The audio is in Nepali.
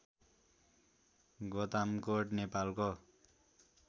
गोतामकोट नेपालको